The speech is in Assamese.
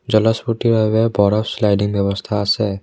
জলস্ফুৰ্তিৰ বাবে পৰা শ্লাইডিং ব্যৱস্থা আছে।